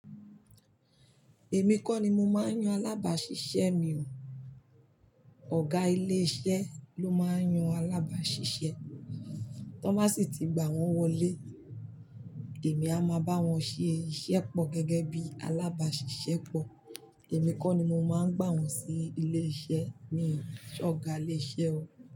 Èmi kọ́ ni mo máa ń yan alábàáṣiṣẹ́ mi o. Ọ̀gá ilé iṣẹ́ ló máa ń yan alábàáṣiṣẹ́, tó bá sì tí gbà wọ́n wọlé, èmi a máa bá wọn ṣe iṣẹ́ pọ̀ gẹ́gẹ́ bí alábàáṣiṣẹ́ pọ̀. Èmi kọ́ ni mo máa ń gbà wọ́n sí ilé iṣẹ́ mii ṣe Ọ̀gá ilé iṣẹ́ o.